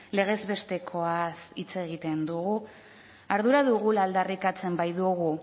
legez bestekoaz hitz egiten dugu ardura dugula aldarrikatzen baitugu